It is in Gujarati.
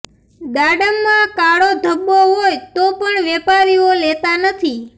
દાડમમાં કાળો ધબ્બો હોય તો પણ વેપારીઓ લેતા નથી